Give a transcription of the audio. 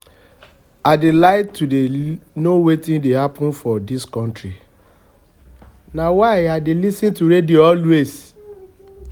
i dey like to dey know wetin dey happen for dis country na why i dey lis ten to radio always